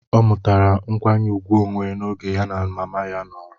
O mutara nkwanye ùgwù onwe n'oge ya na mama ya nọrọ